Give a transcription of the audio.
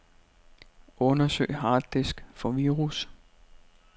Undersøg harddisk for virus.